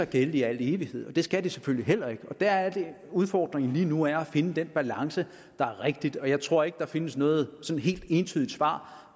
gælde i al evighed det skal det selvfølgelig heller ikke og der er det at udfordringen lige nu er at finde den balance der er rigtig jeg tror ikke at der findes noget sådan helt entydigt svar